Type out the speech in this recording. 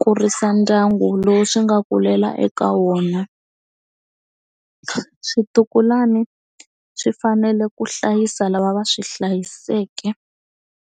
kurisa ndyangu lowu swi nga kulela eka wona swintukulwana swi fanele ku hlayisa lava va swi hlayiseke.